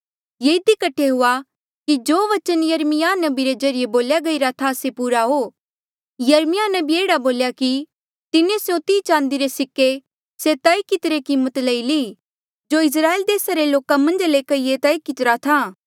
ये इधी कठे हुआ कि जो बचन यिर्मयाह नबी रे ज्रीए बोल्या गईरा था से पूरा हो यिर्मयाह नबिये एह्ड़ा बोल्या कि तिन्हें स्यों तीह चांदी रे सिक्के से तय कितिरी कीमत लई ली जो इस्राएल देसा रे लोक मन्झा ले कईए तय कितिरा था